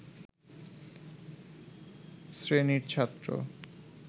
শ্রেণীর ছাত্র